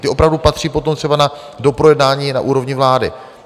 Ty opravdu patří potom třeba na doprojednání na úrovni vlády.